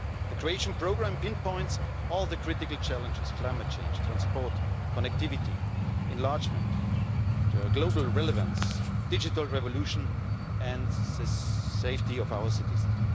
The Croatian programme pinpoints all the critical challenges climate change, transport, connectivity, enlargement, global relevance, digital revolution and the safety of our citizens.